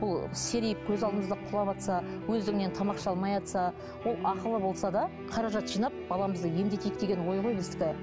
ол серейіп көз алдымызда құлаватса өздігінен тамақ іше алмайатса ол ақылы болса да қаражат жинап баламызды емдетейік деген ой ғой біздікі